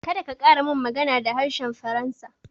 Kada ka ƙara min magana da harshen faransa